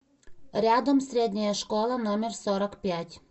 рядом средняя школа номер сорок пять